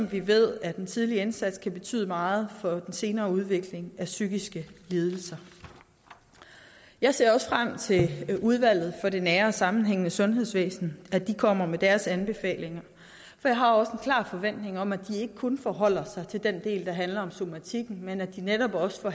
vi ved at den tidlige indsats kan betyde meget for den senere udvikling af psykiske lidelser jeg ser også frem til at udvalget for det nære og sammenhængende sundhedsvæsen kommer med deres anbefalinger for jeg har også en klar forventning om at de ikke kun forholder sig til den del der handler om somatikken men at de netop også